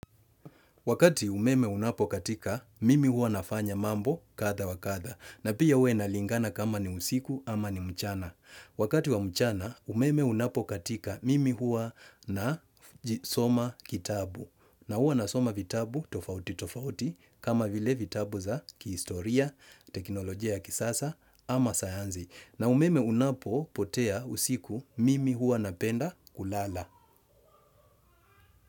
Wakati umeme unapokatika, mimi huwa nafanya mambo kadha wakadha. Na pia huwa inalingana kama ni usiku ama ni mchana. Wakati wa mchana, umeme unapokatika mimi huwa na soma kitabu. Na huwa nasoma vitabu tofauti tofauti kama vile vitabu za kihistoria, teknolojia ya kisasa ama sayanzi. Na umeme unapopotea usiku mimi huwa napenda kulala.